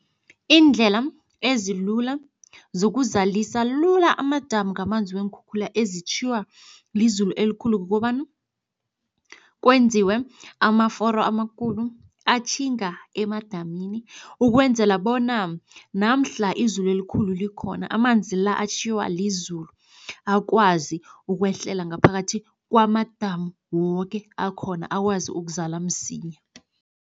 Iindlela ezilula zokuzalisa lula amadamu ngamanzi weenkhukhula ezitjhiywa lizulu elikhulu. Kukobana, kwenziwe amaforo amakhulu atjhinga emadamini ukwenzela bona namhla izulu elikhulu likhona, amanzi la atjhiywa lizulu akwazi ukwehlela ngaphakathi kwamadamu woke akhona akwazi ukuzala msinya.